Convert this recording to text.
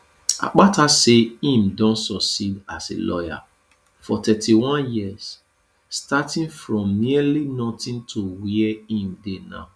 akpata say im don succeed as a lawyer for 31 years starting from nearly notin to wia im dey now